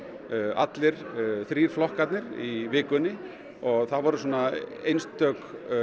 allir þrír flokkarnir í vikunni það voru svona einstök